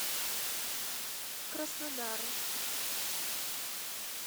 краснодару